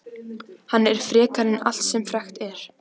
Hann er frekari en allt sem frekt er.